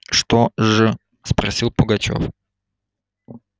что ж спросил пугачёв